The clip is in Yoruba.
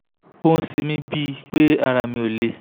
ó ń ṣe mí bíi pé ara mi ò le